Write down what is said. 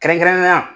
Kɛrɛnkɛrɛnnenya la